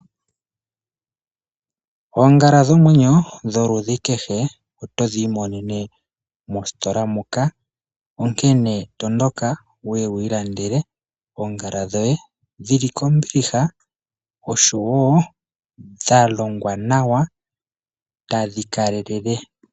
Oongala dhomwenyo dholudhi kehe otodhi imonene mositola muka. Onkene tondoka wuye wu ilandele oongala dhoye dhili kombiliha oshowo dha longwa nawa tadhi kalelele.